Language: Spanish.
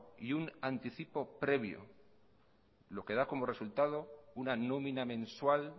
y un anticipo previo lo que da como resultad una nómina mensual